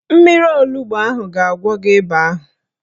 Mmiri onugbo a ga-agwọ gị ịba ahụ